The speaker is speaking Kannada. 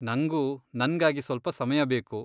ನಂಗೂ ನನ್ಗಾಗಿ ಸ್ವಲ್ಪ ಸಮಯ ಬೇಕು.